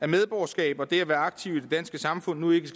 medborgerskabet og det med at være aktiv i det danske samfund nu ikke